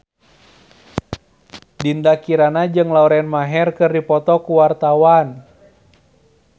Dinda Kirana jeung Lauren Maher keur dipoto ku wartawan